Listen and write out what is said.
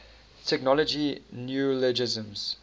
technology neologisms